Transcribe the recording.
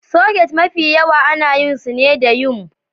Soket Mafi yawa ana yin su ne da yumbm